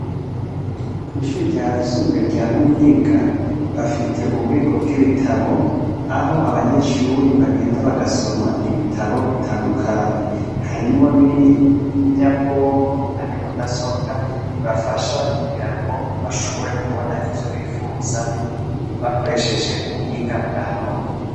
Kwishure ryisumbuye rya muyinga bafite ububiko bwibitabo aho abanyeshure bagenda bagasoma ibitabo bitandukanye harimwo ninyabwonko ariyo mudasobwa ibafasha kugira ngo bashobore kubona ivyo bifuza bakoresheje ubuhinga bwanone